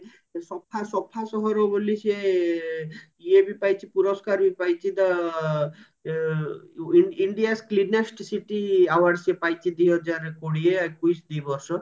ସଫା ସଫା ସହର ବୋଲି ସିଏ ଇଏ ବି ପାଇଛି ପୁରସ୍କାର ବି ପାଇଛି the India cleanest city award ସେ ପାଇଛି ଦିହଜାର କୋଡିଏ ଏକାଉଶୀ ଦି ବର୍ଷ